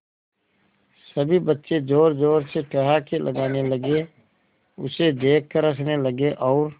सभी बच्चे जोर जोर से ठहाके लगाने लगे उसे देख कर हंसने लगे और